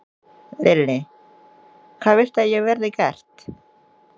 Lillý: Hvað viltu að verði gert?